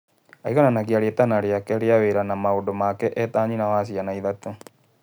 Aigananagia rĩtana rĩake rĩa wĩra na maũndũ make eta-nyina wa ciana ithatũ.